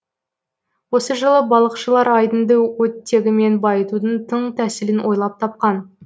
осы жылы балықшылар айдынды оттегімен байытудың тың тәсілін ойлап тапқан